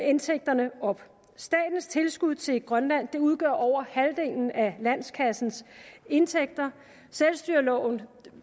indtægterne op statens tilskud til grønland udgør over halvdelen af landskassens indtægter selvstyreloven